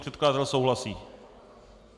Předkladatel souhlasí?